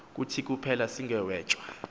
kuthi kuphela sigwetywa